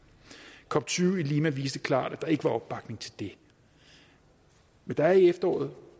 cop tyve i lima viste klart at der ikke var opbakning til det men der er i efteråret